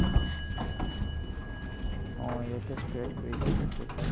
উম ইহঁতে spread কৰিছে বহুত বাৰু।